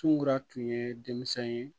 Cungura tun ye denmisɛn ye